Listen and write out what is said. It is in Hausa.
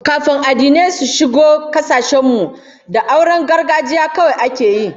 Kafin addinai su shigo kasashen mu, da auren gargajiya kawai ake yi